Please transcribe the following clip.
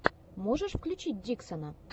можешь включить диксона